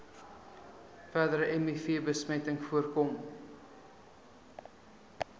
verdere mivbesmetting voorkom